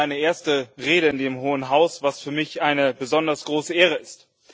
Dies ist meine erste Rede in dem Hohen Haus, was für mich eine besonders große Ehre ist.